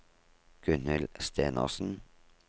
Gunhild Stenersen